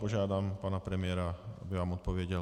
Požádám pana premiéra, aby vám odpověděl.